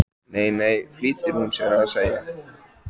Nei, nei flýtir hún sér að segja.